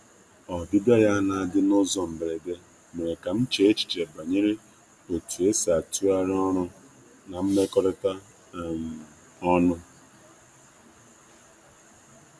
Ọbịbịa ya na-adị n’ụzọ mberede mere ka m chee echiche banyere etu esi atụgharị ọrụ na mmekọrịta um ọnụ.